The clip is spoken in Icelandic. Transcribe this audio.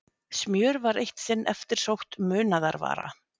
Smjör var eitt sinn eftirsótt munaðarvara.